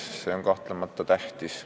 See on kahtlemata tähtis.